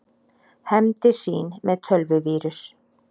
Hefndi sín með tölvuvírus